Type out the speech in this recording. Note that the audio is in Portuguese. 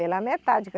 Pela metade. que